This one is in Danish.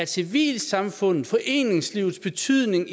civilsamfundet foreningslivets betydning